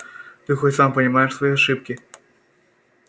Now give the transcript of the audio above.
ты хоть сам понимаешь свои ошибки